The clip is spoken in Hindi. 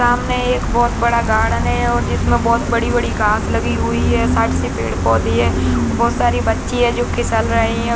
सामने एक बहुत गार्डन है और जिसमें बहुत बड़ी-बड़ी घास लगी हुई हैं साइड से पेड़-पोधे हैं बहुत सारी बच्ची जो फिसल रहें हैं।